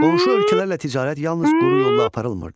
Qonşu ölkələrlə ticarət yalnız quru yolla aparılmırdı.